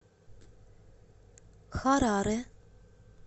хараре